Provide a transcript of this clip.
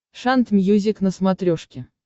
шант мьюзик на смотрешке